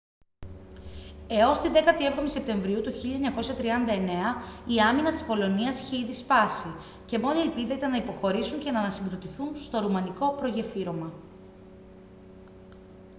έως τη 17η σεπτεμβρίου του 1939 η άμυνα της πολωνίας είχε ήδη σπάσει και μόνη ελπίδα ήταν να υποχωρήσουν και να ανασυγκροτηθούν στο ρουμανικό προγεφύρωμα